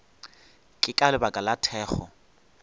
ke ka lebaka la thekgo